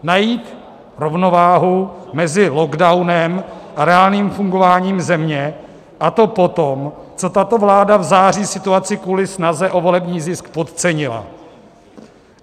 Najít rovnováhu mezi lockdownem a reálným fungováním země, a to potom, co tato vláda v září situaci kvůli snaze o volební zisk podcenila.